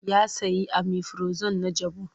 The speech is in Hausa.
Ya sayi omifirazon na jabu.